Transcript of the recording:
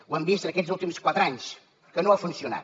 ho hem vist en aquests últims quatre anys que no ha funcionat